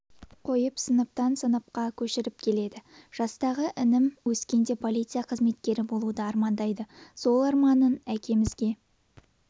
қойып сыныптан сыныпқа көшіріп келеді жастағы інім өскенде полиция қызметкері болуды армандайды осы арманын әкемізге